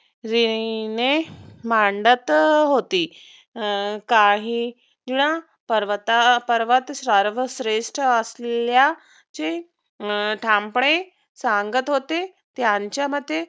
परीने मांडत होते काहींना पर्वत पर्वात सर्व श्रेष्ठ असल्याचे ठामपणे सांगत होते. त्यांच्यामते